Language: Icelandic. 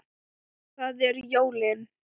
Það eru jólin.